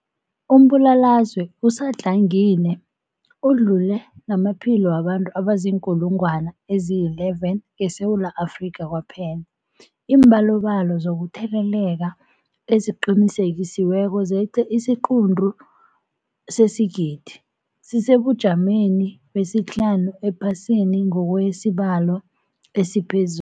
Umbulalazwe usadlangile udlule namaphilo wabantu abaziinkulungwana ezi-11 ngeSewula Afrika kwaphela. Iimbalobalo zokutheleleka eziqinisekisiweko zeqe isiquntu sesigidi, sisesebujameni besihlanu ephasini ngokwesibalo esiphezulu.